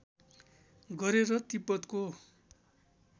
गरे र तिब्बतको